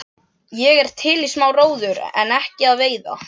Ég er til í smá róður en ekki að veiða.